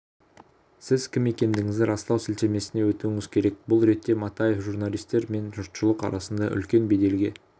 сіз кім екендігіңізді растау сілтемесіне өтуіңіз керек бұл ретте матаев журналистер мен жұртшылық арасында үлкен беделге